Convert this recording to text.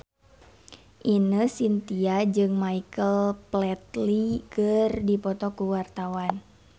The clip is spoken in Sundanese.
Ine Shintya jeung Michael Flatley keur dipoto ku wartawan